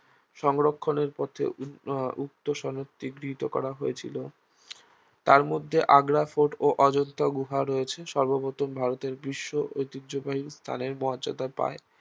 সংরক্ষণের পথে উ~ উক্ত সনদটি গৃহীত করা হয়েছিল তার মধ্যে আগ্রা ফোর্ট ও অজন্তা গুহা রয়েছে সর্বপ্রথম ভারতের বিশ্ব ঐতিহ্যবাহী স্থানের মর্যাদা পায়